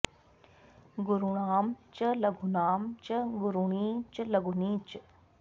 गुरूणां च लघूनां च गुरूणि च लघूनि च